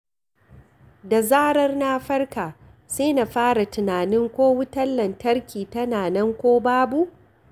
Da zarar na farka, sai na fara tunanin ko wutar lantarki tana nan ko babu.